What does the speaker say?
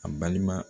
A balima